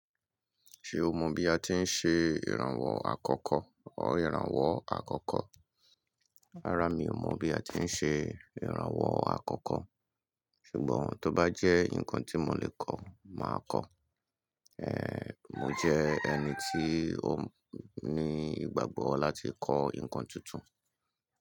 Ṣe o mọ bi a ti n ṣe iranwọ àkọ́kọ́, ọ iranwọ àkọ́kọ́? Rárá, mi o mọ bi a ti n ṣe iranwọ akọkọ, ṣugbọn to ba jẹ nkan ti mo le kọ, ma kọ. Ehn, mo jẹ ẹni tí ó ní ìgbàgbọ́ lati kọ ǹkan tuntun.